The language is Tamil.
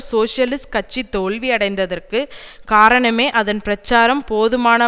சோசியலிஸ்ட் கட்சி தோல்வி அடைந்ததற்கு காரணமே அதன் பிரச்சாரம் போதுமான